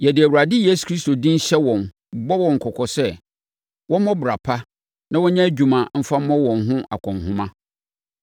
Yɛde Awurade Yesu Kristo din hyɛ wɔn, bɔ wɔn kɔkɔ sɛ, wɔmmɔ bra pa na wɔnyɛ adwuma mfa mmɔ wɔn ho akɔnhoma.